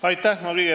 Aitäh!